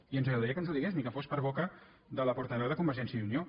i ens agradaria que ens ho digués ni que fos per boca de la portaveu de convergència i unió